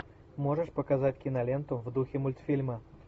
можешь показать киноленту в духе мультфильма